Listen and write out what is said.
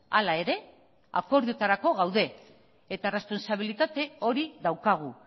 hala ere akordioetarako gaude eta erresponsabilitate hori daukagu